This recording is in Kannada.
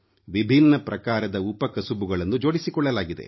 ವಿಭಿನ್ನ ಪ್ರಕಾರದ ಉಪಕಸುಬುಗಳನ್ನು ಜೋಡಿಸಿಕೊಳ್ಳಲಾಗಿದೆ